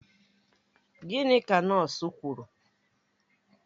Gịnị ka nọọsụ kwuru?